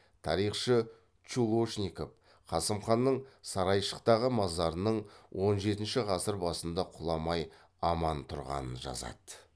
тарихшы чулошников қасым ханның сарайшықтағы мазарының он жетінші ғасыр басында кұламай аман тұрғанын жазады